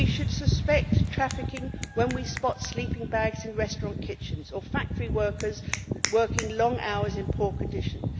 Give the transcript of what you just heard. We should suspect trafficking when we spot sleeping bags in restaurant kitchens, or factory workers working long hours in poor conditions.